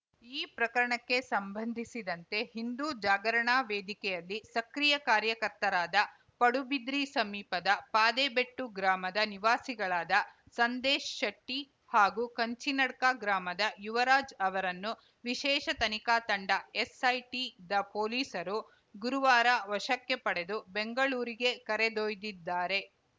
ಈ ಪ್ರಕರಣಕ್ಕೆ ಸಂಬಂಧಿಸಿದಂತೆ ಹಿಂದೂ ಜಾಗರಣಾ ವೇದಿಕೆಯಲ್ಲಿ ಸಕ್ರಿಯ ಕಾರ್ಯಕರ್ತರಾದ ಪಡುಬಿದ್ರಿ ಸಮೀಪದ ಪಾದೆಬೆಟ್ಟು ಗ್ರಾಮದ ನಿವಾಸಿಗಳಾದ ಸಂದೇಶ್‌ ಶೆಟ್ಟಿ ಹಾಗೂ ಕಂಚಿನಡ್ಕ ಗ್ರಾಮದ ಯುವರಾಜ್‌ ಅವರನ್ನು ವಿಶೇಷ ತನಿಖಾ ತಂಡ ಎಸ್‌ಐಟಿದ ಪೊಲೀಸರು ಗುರುವಾರ ವಶಕ್ಕೆ ಪಡೆದು ಬೆಂಗಳೂರಿಗೆ ಕರೆದೊಯ್ದಿದ್ದಾರೆ